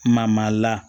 Mama la